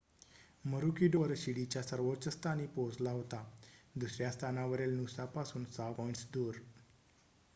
मरुकीडोअर शिडीच्या सर्वोच्च स्थानी पोहोचला होता दुसऱ्या स्थानावरील नूसापासून 6 पॉईंट्स दूर